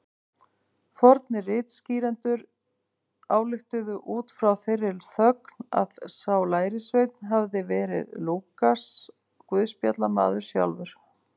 Fornir ritskýrendur ályktuðu út frá þeirri þögn að sá lærisveinn hefði verið Lúkas guðspjallamaður sjálfur.